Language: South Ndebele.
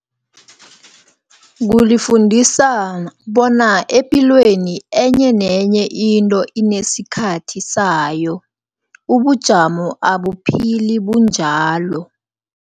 Kulifundisa bona epilweni, enye nenye into inesikhathi sayo, ubujamo abaphili bunjalo.